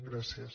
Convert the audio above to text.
gràcies